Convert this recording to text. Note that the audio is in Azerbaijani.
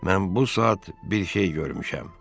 Mən bu saat bir şey görmüşəm.